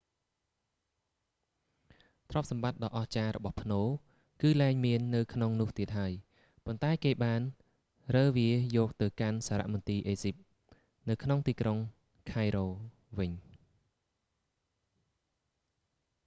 ទ្រព្យសម្បត្តិដ៏អស្ចារ្យរបស់ផ្នូរ គឺលែងមាននៅក្នុងនោះទៀតហើយ ប៉ុន្តែគេបានរើវាយកវាទៅកាន់សារមន្ទីរអេស៊ីបនៅក្នុងទីក្រុង cairo វិញ